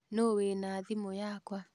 Nũũ wĩna thimu yakwa?